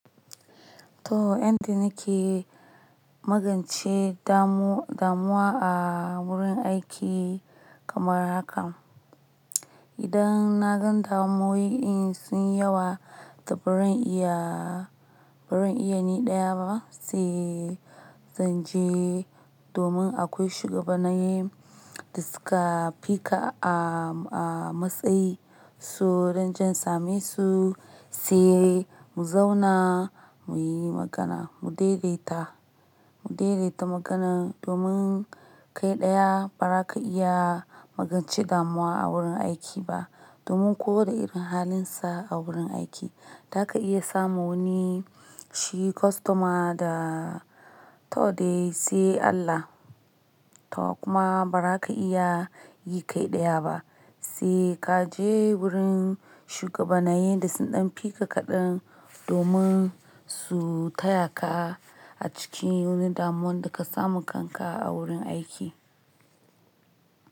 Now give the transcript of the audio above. To, haka muke yi magance damu-damuwa a wurin aiki kamar hakan. Idan na gan damuwoyi in sun yawa da ba zan iya, ba zan iya ni ɗaya ba sai zan je domin akwai shugabanaye da suka fi ka a-a matsayi su don jan same su, sai mu zauna mu yi magana, mu daidaita, mu daidaita magana domin kai ɗaya ba za ka iya magance damuwa a wurin aiki ba. Domin ko da irin halinsa a wurin aiki, za ka iya samun wani shi kostoma da to dai sai Allah. To kuma ba za ka iya yi kai ɗaya ba, sai ka je wurin shugabanaye da sun ɗan fi ka kaɗan domin su taya ka a cikin wani damuwan da ka samu kanka a wurin aiki.